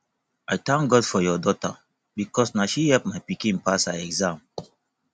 i thank god for your daughter because na she help my pikin pass her exam